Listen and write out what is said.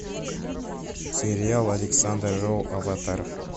сериал александр роу аватар